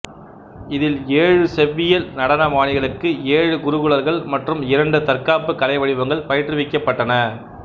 இதில் ஏழு செவ்வியல் நடன பாணிகளுக்கு ஏழு குருகுலர்கள் மற்றும் இரண்டு தற்காப்பு கலை வடிவங்கள் பயிற்றுவிக்கப்பட்டன